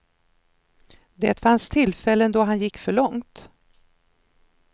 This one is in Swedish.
Det fanns tillfällen då han gick för långt.